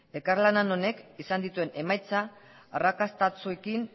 elkarlan honek izan dituen emaitza arrakastatsuekin